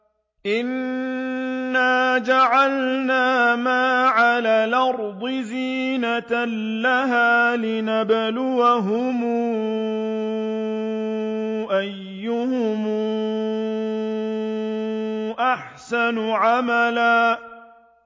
إِنَّا جَعَلْنَا مَا عَلَى الْأَرْضِ زِينَةً لَّهَا لِنَبْلُوَهُمْ أَيُّهُمْ أَحْسَنُ عَمَلًا